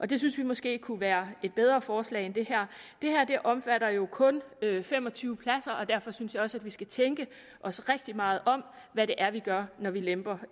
det synes vi måske kunne være et bedre forslag end det her det her omfatter jo kun fem og tyve pladser og derfor synes jeg også at vi skal tænke os rigtig meget om hvad det er vi gør når vi lemper